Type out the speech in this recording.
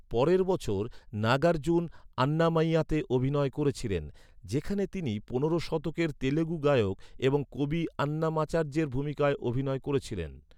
পরের বছর, নাগার্জুন আন্নামাইয়াতে অভিনয় করেছিলেন, যেখানে তিনি পনেরো শতকের তেলুগু গায়ক এবং কবি আন্নামাচার্যের ভূমিকায় অভিনয় করেছিলেন।